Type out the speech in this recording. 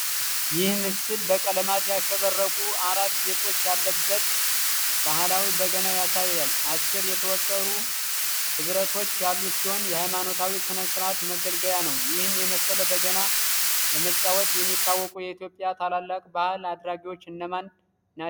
ይህ ምስል በቀለማት ያሸበረቁ አራት ጌጦች ያለበትን ባህላዊ በገና ያሳያል። አስር የተወጠሩ ሕብረቶች ያሉት ሲሆን የሃይማኖታዊ ሥነ-ሥርዓት መገልገያ ነው። ይህን የመሰለ በገና በመጫወት የሚታወቁ የኢትዮጵያ ታላላቅ ባሕል አድራጊዎች እነማን ናቸው?